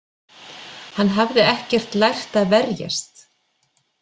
Hann hafði ekkert lært að verjast.